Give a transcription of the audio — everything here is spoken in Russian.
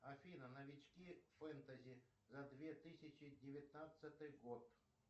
афина новички фэнтези за две тысячи девятнадцатый год